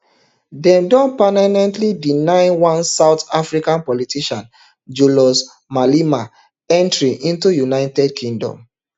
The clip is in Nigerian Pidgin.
dem don permanently deny one south africa politician julius malema entry into united kingdom